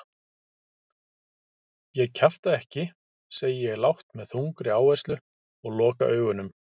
Ég kjafta ekki, segi ég lágt með þungri áherslu og loka augunum.